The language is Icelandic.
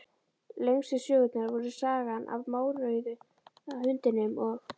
Lengstu sögurnar voru Sagan af mórauða hundinum og